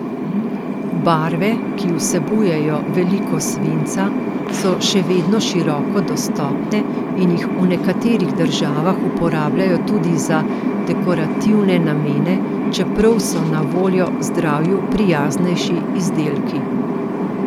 Barve, ki vsebujejo veliko svinca, so še vedno široko dostopne in jih v nekaterih državah uporabljajo tudi za dekorativne namene, čeprav so na voljo zdravju prijaznejši izdelki.